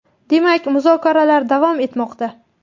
Demak, muzokaralar davom etmoqda.